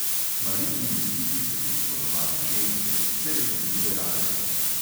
Marijini stiki so bili po navadi ženske, vselej liberalke.